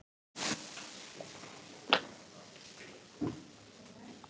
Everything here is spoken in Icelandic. Tappatogari með dýptarmæli.